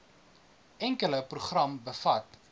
enkele program bevat